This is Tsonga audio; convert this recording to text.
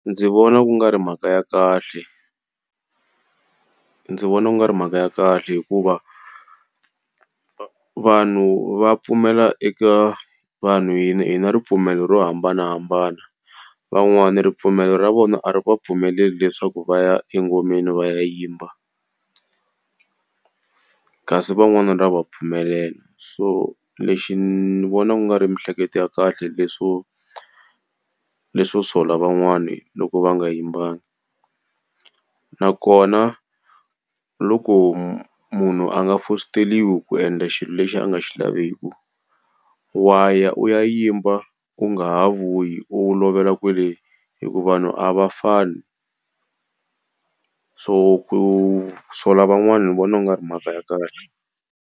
Ndzi vona ku nga ri mhaka ya kahle. Ndzi vona ku nga ri mhaka ya kahle hikuva, vanhu va pfumela eka vanhu hi na hi na hina ripfumelo ro hambanahambana. Van'wani ripfumelo ra vona ri va pfumeleli leswaku va ya engomeni va ya yimba kasi van'wani ra va pfumelela, so lexi ni vona ku nga ri miehleketo ya kahle leswo leswo sola van'wani loko va nga yimbanga. Nakona loko munhu a nga fositeriwi ku endla xilo lexi a nga xi laveki. Wa ya u ya yimba u nga ha vuyi u lovela kwale hikuva vanhu a va fani, so ku sola van'wana ni vona u nga ri mhaka ya kahle.